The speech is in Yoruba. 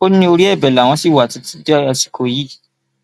ó ní orí ẹbẹ làwọn ṣì wà títí di àsìkò yìí